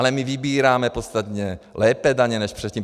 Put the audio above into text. Ale my vybíráme podstatně lépe daně než předtím.